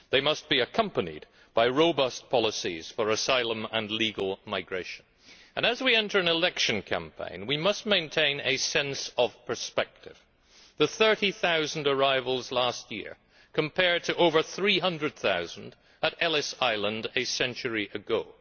They must be accompanied by robust policies for asylum and legal migration and, as we enter an election campaign, we must maintain a sense of perspective the 30000 arrivals last year compared to over 300000 at Ellis Island a century ago.